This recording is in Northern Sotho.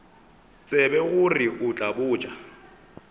tsebe gore o tla botša